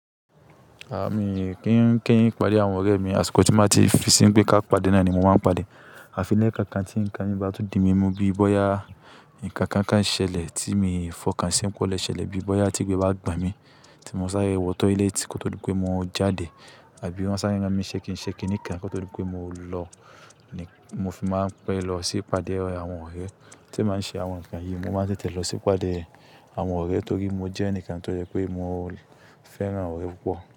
A mi n kí n kí n pàdé àwọn ọ̀rẹ́ mi, àsìkò tí n bà ti fi sí ń pé ká pàdé náà ni mo máa ń pàdé. Àfi ní kánkan tí nǹkan mí bá tún di mí mú bí i bóyá nǹkan kan kán ṣẹlẹ̀ tí mi fọkàn sí pe ó lẹ̀ ṣẹlẹ̀ bí i bóyá tí igbé bá gbàn mí tí mọ sáré wọ t ilétí kò tó dípé mo jáde àbí wọn sáré ran mi n ṣẹ́ kin ṣẹ́ kiní kan kò tó dípé mo lọ ni mo fi máa ń pẹ́ lọ sí pàdé àwọn ọ̀rẹ́. Tí e bá ṣe àwọn nǹkan yìí mo máa ń tètè lọ sí pàdé àwọn ọ̀rẹ́ torí mo jẹ́ ẹnìkan tó jẹ pé mo fẹ́ran ọ̀rẹ́ púpọ̀